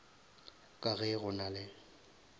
ka ge go na le